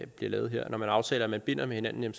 bliver lavet her når man aftaler at man binder hinanden